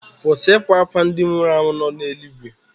Kwụsị ịkwa akwa ndị nwụrụ anwụ nọ n'eluigwe.